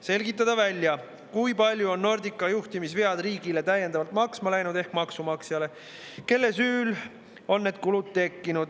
Selgitada välja, kui palju on Nordica juhtimisvead täiendavalt maksma läinud riigile ehk maksumaksjale ning kelle süül on need kulud tekkinud.